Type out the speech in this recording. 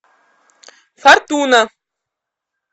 фортуна